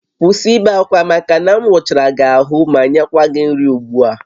Kwụsị ibe akwa maka na m wụchara gị ahụ ma nyekwa gị nri ugbu a!